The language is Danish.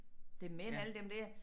Det mænd alle dem dér